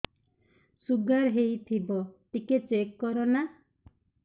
sugar ହେଇଥିବ ଟିକେ check କର ନା